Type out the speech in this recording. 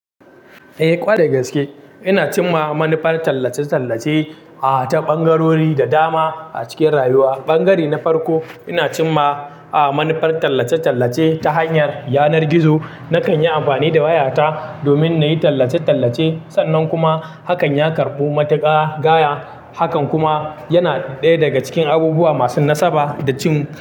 Eh kwarai gaske. Ina cimma manufar tallace-tallace, ah, ta ɓangarori da dama a cikin rayuwa. Ɓangare na farko, ina cimma, ah, manufar tallace-tallace ta hanyar yanar gizo. Nakan yi amfani da wayata domin na yi tallace-tallace sannan kuma hakan ya karɓu matuƙa gaya. Hakan kuma yana ɗaya daga cikin abubuwa masu nasaba da cin.